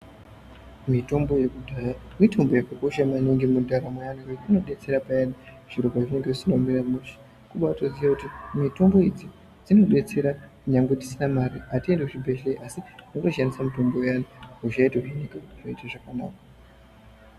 Mitombo yekudhaya mitombo yakakosha maningi mundaramo yazvinezvi inodetsera paya zvinhu zvisina kumira mushe kuti Mitombo idzi dzinodetsera kunyangwe tisina Mari hatiendi kuzvibhehlera totoshandisa mutombo iyani hosha yotopera yotoita zvakanaka.